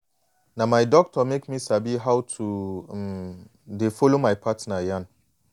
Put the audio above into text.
na my doctor make me sabi how to um de follow my partner yan